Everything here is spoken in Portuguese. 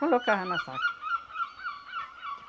Colocava na saca.